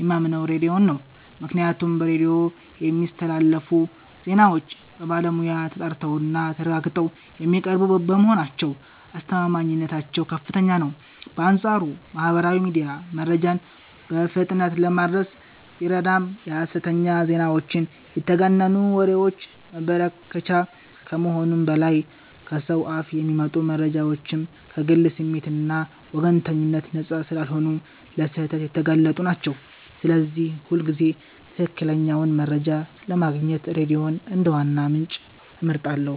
የማምነው ሬዲዮን ነው፤ ምክንያቱም በሬዲዮ የሚስተላለፉ ዜናዎች በባለሙያ ተጣርተውና ተረጋግጠው የሚቀርቡ በመሆናቸው አስተማማኝነታቸው ከፍተኛ ነው። በአንጻሩ ማህበራዊ ሚዲያ መረጃን በፍጥነት ለማድረስ ቢረዳም የሐሰተኛ ዜናዎችና የተጋነኑ ወሬዎች መበራከቻ ከመሆኑም በላይ፣ ከሰው አፍ የሚመጡ መረጃዎችም ከግል ስሜትና ወገንተኝነት ነፃ ስላልሆኑ ለስህተት የተጋለጡ ናቸው፤ ስለዚህ ሁልጊዜም ትክክለኛውን መረጃ ለማግኘት ሬዲዮን እንደ ዋና ምንጭ እመርጣለሁ።